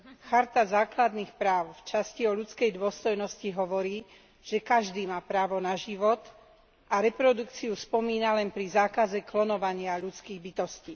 Charta základných práv v časti o ľudskej dôstojnosti hovorí, že každý má právo na život, a reprodukciu spomína len pri zákaze klonovania ľudských bytostí.